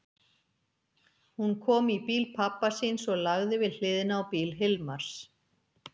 Hún kom í bíl pabba síns og lagði við hliðina á bíl Hilmars.